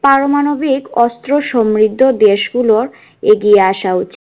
পারমাণবিক অস্ত্র সমৃদ্ধ দেশ গুলোর এগিয়ে আসা উচিত